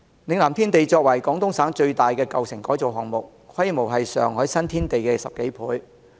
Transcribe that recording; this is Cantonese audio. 嶺南天地作為廣東省最大的舊城改造項目，規模是上海新天地的10多倍。